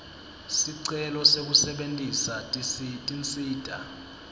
sicelo sekusebentisa tinsita